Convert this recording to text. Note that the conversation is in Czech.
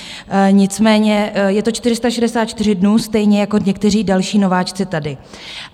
Nicméně je to 464 dnů stejně jako někteří další nováčci tady.